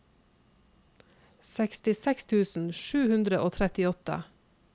sekstiseks tusen sju hundre og trettiåtte